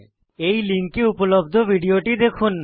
এই লিঙ্কে উপলব্ধ ভিডিওটি দেখুন